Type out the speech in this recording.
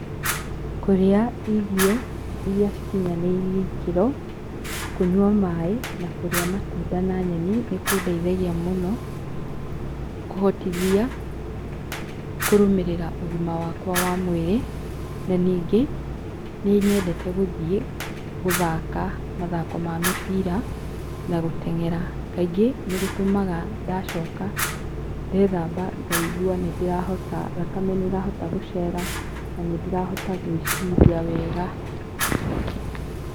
Kũrĩa irio iria cikinyanĩirie ikĩro, kũnyua maaĩ, na kũrĩa matunda na nyeni, nĩ kũndeithagia mũno kũhotithia kũrũmĩrĩra ũgima wakwa wa mwĩrĩ. Na ningĩ, nĩ nyendete gĩthiĩ, gũthaka mathako ma mĩbira, na gũteng'era. Kaingĩ, nĩ gũtũmaga ndacoka, ndeethamba, ngaigua nĩ ndĩrahota, thakame nĩ ĩrahota gũcera na nĩ ndĩrahota gwĩciria wega.